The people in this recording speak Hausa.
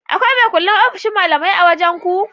Akwai makullin ofshin malamai a wajan ku?